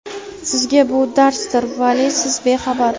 Sizga bu darsdir, vale siz bexabar.